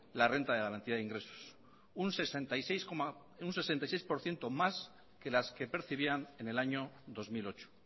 la renta de garantía de ingresos un sesenta y seis por ciento más que las que percibían en el año dos mil ocho